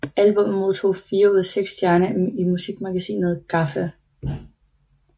Albummet modtog fire ud af seks stjerner i musikmagasinet GAFFA